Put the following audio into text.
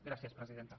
gràcies presidenta